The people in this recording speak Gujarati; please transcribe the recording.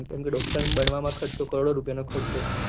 કેમ કે ડોક્ટર બનવા મળવા માં ખર્ચો કરોડો રુપયા નો ખર્ચો છે